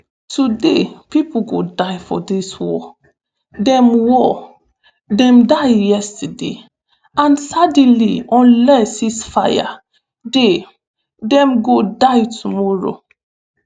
today pipo go die for dis war dem war dem die yesterday and sadly unless ceasefire dey dem go die tomorrow